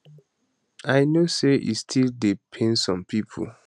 i know say e still dey pain some pipo